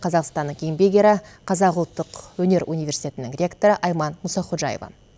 қазақстанның еңбек ері қазақ ұлттық өнер университетінің ректоры айман мұсаходжаева